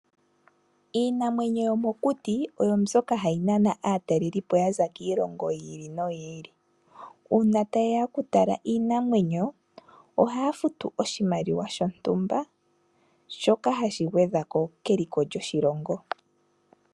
Iinamwenyo yomokuti oyo mbyoka hayi nana aatalelipo ya za kiilongo yi ili no yi ili. Uuna ta ye ya oku tala iinamwenyo ohaya futu oshimaliwa shontumba shoka ha shi gwedha ko keliko lyoshilongo.